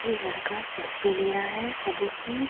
ये लड़का सेल्फ़ी ले रहा है सबों की।